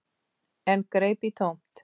En greip í tómt.